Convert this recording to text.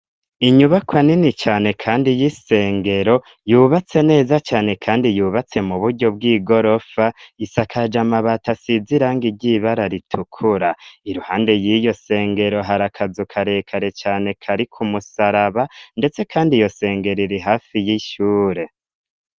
Inyubakwa nini cane kandi y'isengero yubatse neza cane kandi yubatse mu buryo bw'igorofa isakaje amabati asize irangi ry'ibara ritukura. Iruhande y'iyo sengero hari akazu karekare cane kariko umusaraba ndetse kandi iyo sengero iri hafi y'ishure.